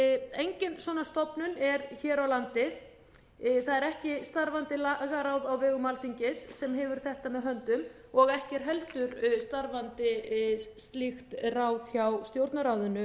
engin svona stofnun er hér á landi það er ekki starfandi lagaráð á vegum alþingis sem hefur þetta með höndum og ekki er heldur starfandi slíkt ráð hjá stjórnarráðinu